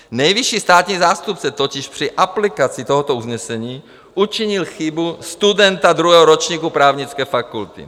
Nejvyšší státní zástupce totiž při aplikaci tohoto usnesení učinil chybu studenta druhého ročníku právnické fakulty.